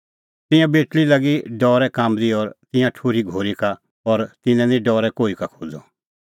तिंयां बेटल़ी लागी डरै काम्बदी और तिंयां ठुर्ही घोरी सेटा का और तिन्नैं निं डरै कोही का खोज़अ